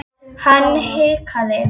Hann hikaði.